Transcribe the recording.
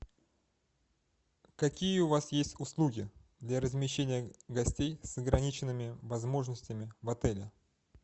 какие у вас есть услуги для размещения гостей с ограниченными возможностями в отеле